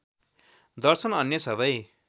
दर्शन अन्य सबै